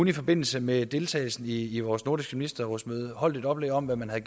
i forbindelse med deltagelsen i i vores nordiske ministerrådsmøde holdt et oplæg om hvad man havde